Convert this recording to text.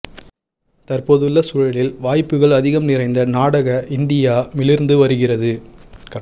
தற்போதுள்ள சூழலில் வாய்ப்புகள் அதிகம் நிறைந்த நாடாக இந்தியா மிளிர்ந்து வருகிறது